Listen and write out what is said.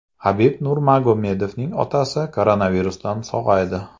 Habib Nurmagomedovning otasi koronavirusdan sog‘aydi.